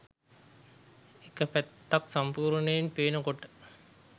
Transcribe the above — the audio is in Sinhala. එක පැත්තක් සම්පූර්ණයෙන් පේන කොට